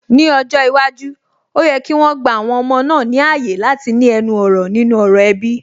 Ní ọjọ́ iwájú, ó yẹ kí wọn gba àwọn ọmọ náà ní ààyè láti ní ẹnu ọ̀rọ̀ nínú ọ̀rọ̀ ẹbí